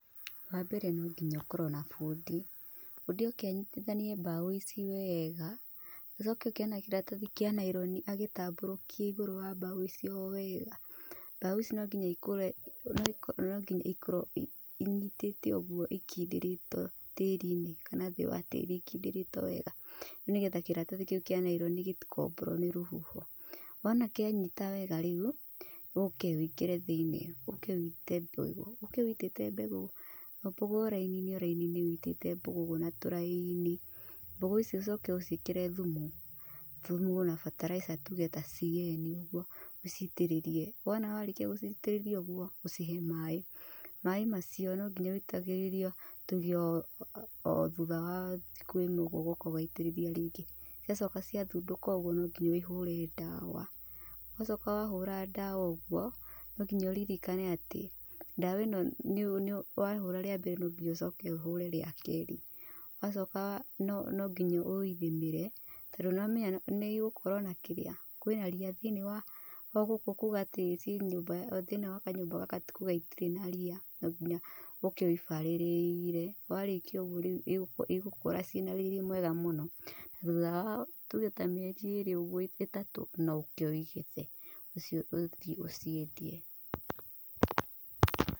Wa mbere no nginya ũkorwo na bundi. Bundi oke anyitithanie mbaũ ici wega, acoke oke na kĩratathi kĩa naironi agĩtambũrũkie igũrũ wa mbao icio wega. Mbaũ ici no nginya ikorwo inyitĩte ũguo ikindĩrĩtwo tĩri-inĩ kana thĩ wa tĩĩri, ikindĩrĩtwo wega. Nĩgetha kĩratathi kĩu kĩa naironi gĩtikũmbũrwo nĩ rũhuho. Wona kĩanyita wega rĩu, ũke wĩkĩre thĩiniĩ ũke ũite mbegũ, ũke ũitĩte mbegũ o mbegũ o raini-inĩ raini-inĩ ũitĩte mbegũ ũguo na tũraini. Mbegũ icio ũcoke ũciĩkĩre thumu, thumu na bataraitha tuge ta CN ũguo ũciitĩrĩrie. Wona warĩkia gũciitĩrĩria ũguo ũcihe maĩ. Maĩ macio no nginya ũitagĩrĩrie tuge o thutha wa thikũ ĩmwe ũguo ũgoka ũgaitĩrĩria rĩngĩ. Ũgacoka ciathundũka ũguo no nginya ũhũre ndawa. Wacoka wahũra ndawa ũguo no nginya ũririkane atĩ, ndawa ĩno wahũra rĩa mbere no nginya ucoke ũhũre rĩa kerĩ. Wacoka wa no nginya ũithimĩre tondũ nĩ wamenya nĩ igũkorwo na kĩrĩa kwĩna ria gũkũ thĩinĩ wa o gũkũ, kuga atĩ thĩinĩ wa kanyũmba gaka ti kuga gũtirĩ na rĩa, no nginya ũke ũbarĩrĩire. Warĩkia ũguo rĩu igũkũra ciĩna riri mwega mũno. Thutha wa tuge ta mĩeri ĩĩrĩ ĩtatũ ũguo no ũke ũigethe, ũcio ũthiĩ ũciendie.